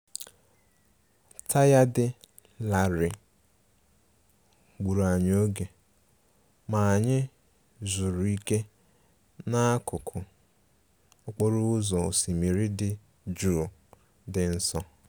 Taya dị larịị gburu anyi oge, ma anyị yzuru ike n'akụkụ okporo ụzọ osimiri dị jụụ dị nso